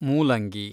ಮೂಲಂಗಿ